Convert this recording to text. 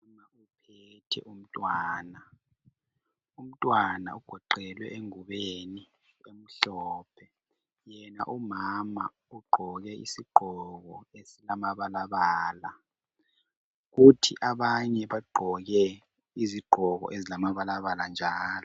Umama uphethe umntwana, umntwana ugoqelwe engubeni emhlophe yena umama ugqoke isigqoko esilamabala bala kuthi abanye bagqoke izigqoko ezilamabalabala njalo.